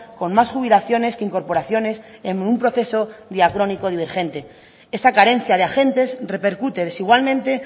con más jubilaciones que incorporaciones en un proceso diacrónico divergente esa carencia de agentes repercute desigualmente